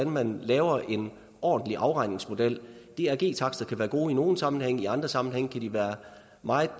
man laver en ordentlig afregningsmodel drg takster kan være gode i nogle sammenhænge i andre sammenhænge kan være meget